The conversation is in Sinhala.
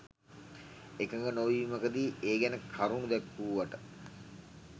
එකඟ නොවීමකදි ඒ ගැන කරුණු දැක්වුවට